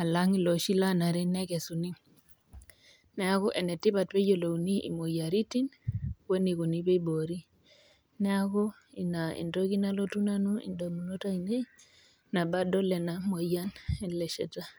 alang eloshi loo nare nekesuni neeku enetipat pee eyiolouni moyiaritin wee nikoni pee ebori neeku ena entoki nalotu edamunot ainei tenadol ena moyian ele shata